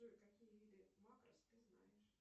джой какие виды макрос ты знаешь